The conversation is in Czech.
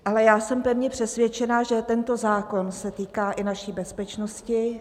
Ale já jsem pevně přesvědčena, že tento zákon se týká i naší bezpečnosti.